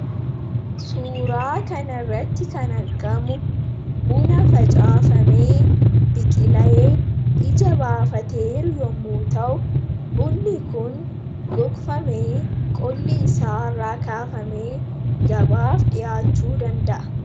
Suuraa kanarratti kan argamu buna facaafamee, biqilee, ija baafateeru yommuu ta'u, bunni kun gogfamee, qolli isaa irraa kaafamee gabaaf dhiyaachuu danda'a.